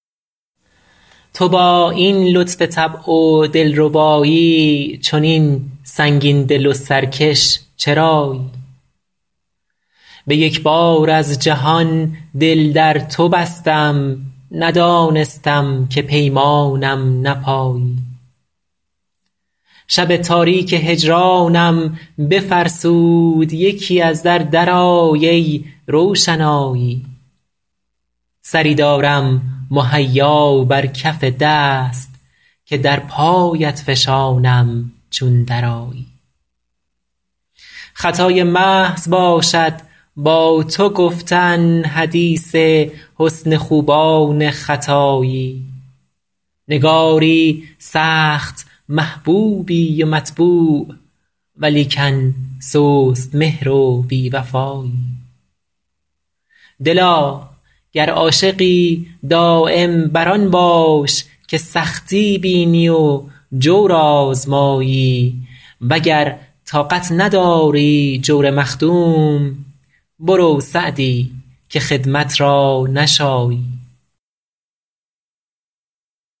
تو با این لطف طبع و دل ربایی چنین سنگین دل و سرکش چرایی به یک بار از جهان دل در تو بستم ندانستم که پیمانم نپایی شب تاریک هجرانم بفرسود یکی از در درآی ای روشنایی سری دارم مهیا بر کف دست که در پایت فشانم چون درآیی خطای محض باشد با تو گفتن حدیث حسن خوبان ختایی نگاری سخت محبوبی و مطبوع ولیکن سست مهر و بی وفایی دلا گر عاشقی دایم بر آن باش که سختی بینی و جور آزمایی و گر طاقت نداری جور مخدوم برو سعدی که خدمت را نشایی